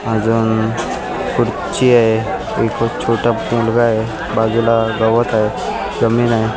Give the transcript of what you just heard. अजून खुर्ची आहे एक छोटा मुलगा आहे बाजूला गवत आहे जमीन आहे.